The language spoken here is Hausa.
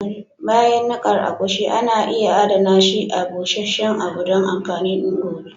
Bayan nikar agushi, ana iya Adana shi a busheshen abu don amfanin gobe.